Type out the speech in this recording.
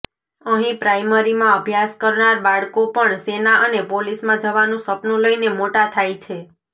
અહી પ્રાઇમરીમાં અભ્યાસ કરનાર બાળકો પણ સેના અને પોલીસમાં જવાનું સપનુ લઈને મોટા થાય છે